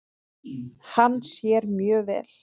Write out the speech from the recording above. Hann sér mjög vel.